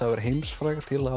að vera heimsfrægt til að